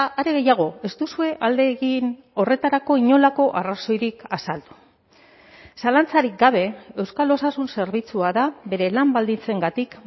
are gehiago ez duzue alde egin horretarako inolako arrazoirik azaldu zalantzarik gabe euskal osasun zerbitzua da bere lan baldintzengatik